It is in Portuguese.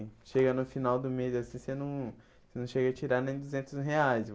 E chega no final do mês, assim, você não você não chega a tirar nem duzentos reais.